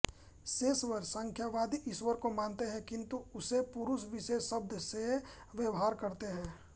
सेश्वर सांख्यवादी ईश्वर को मानते हैं किंतु उसे पुरुष विशेष शब्द से व्यवहार करते हैं